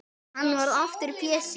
Og hann varð aftur Pési.